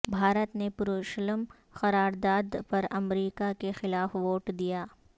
بھارت نے یروشلم قرار داد پر امریکہ کے خلاف ووٹ دیا